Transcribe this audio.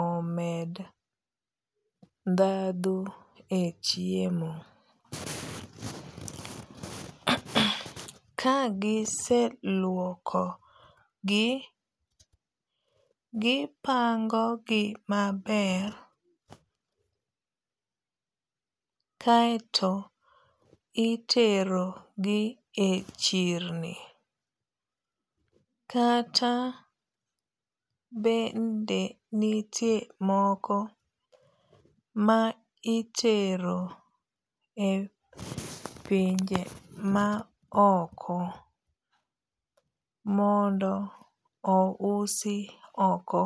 omed dhadho e chiemo. Kagiseluoko gi gipango gi maber kaeto itero gi e chirni. Kata bende nitie moko ma itero e pinje ma oko mondo o usi oko.